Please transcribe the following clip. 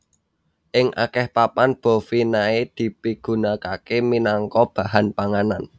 Ing akèh papan bovinae dipigunakaké minangka bahan panganan